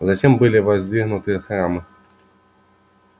затем были воздвигнуты храмы